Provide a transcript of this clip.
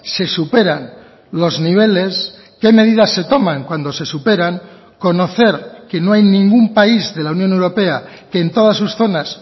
se superan los niveles qué medidas se toman cuando se superan conocer que no hay ningún país de la unión europea que en todas sus zonas